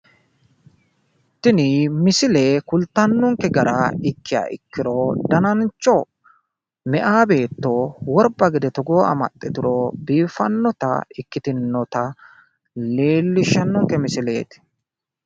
tini misile kultanonke gara ikkiha ikkiro, danacho meyaa beetto worba gede togoo amaxxituro biiffannota ikkitinota leellishshanonke misileeti.